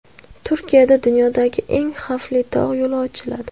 Turkiyada dunyodagi eng xavfli tog‘ yo‘li ochiladi .